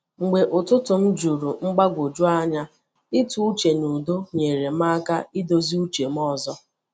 Mgbe ụtụtụ m juru mgbagwoju anya, ịtụ uche n’udo nyere m aka idozi uche m ọzọ.